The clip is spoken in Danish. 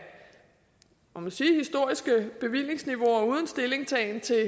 må man sige historiske bevillingsniveauer uden stillingtagen til